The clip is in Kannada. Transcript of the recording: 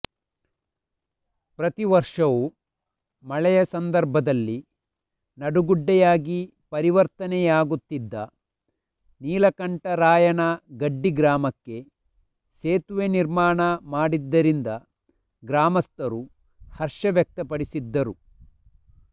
ಪ್ರತಿವರ್ಷವೂ ಮಳೆಯ ಸಂದರ್ಭದಲ್ಲಿ ನಡುಗಡ್ಡೆಯಾಗಿ ಪರಿವರ್ತನೆಯಾಗುತ್ತಿದ್ದ ನೀಲಕಂಠರಾಯನ ಗಡ್ಡಿ ಗ್ರಾಮಕ್ಕೆ ಸೇತುವೆ ನಿರ್ಮಾಣ ಮಾಡಿದ್ದರಿಂದ ಗ್ರಾಮಸ್ಥರು ಹರ್ಷ ವ್ಯಕ್ತಪಡಿಸಿದ್ದರು